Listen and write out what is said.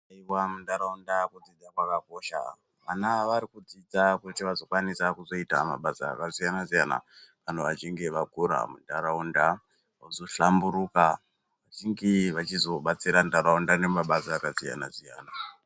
Aiwa munharaunda kudzizidza kwakakosha. Vana ava varikudzidza kuti vazokwanisa kuzoita mabasa akasiyana-siyana kana vachinge vakura munharaunda vozohlamburuka. vachinge vachizobatsira nharaunda nemabasa akasiyana-siyana.